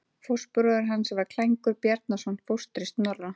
Fóstbróðir hans var Klængur Bjarnason, fóstri Snorra.